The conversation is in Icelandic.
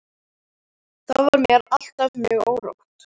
Þá var mér alltaf mjög órótt.